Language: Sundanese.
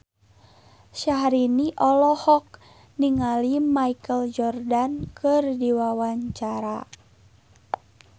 Syahrini olohok ningali Michael Jordan keur diwawancara